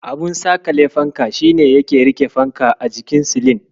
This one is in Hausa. Abun saƙale fanka shi ne yake riƙe fanka a jikin silin.